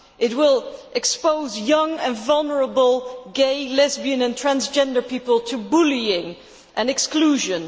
It will expose young and vulnerable gay, lesbian and transgender people to bullying and exclusion.